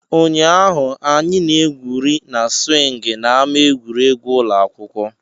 Ụnyaahụ, anyị na-egwuri na siwing na ama egwuregwu ụlọ akwụkwọ.